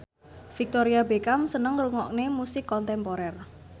Victoria Beckham seneng ngrungokne musik kontemporer